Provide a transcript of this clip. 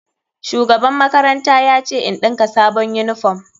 Shugaban makaranta ya ce in ɗinka sabon uniform.